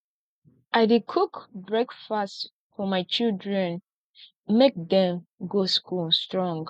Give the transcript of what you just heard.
i dey cook breakfast for my children make dem go school strong